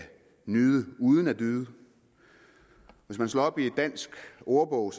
nyde uden at yde hvis vi slår op i en dansk ordbog og